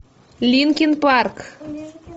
линкин парк